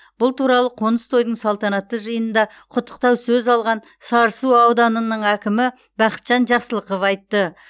бұл туралы қоныс тойдың салтанатты жиынында құттықтау сөз алған сарысу ауданының әкімі бақытжан жақсылықов айтты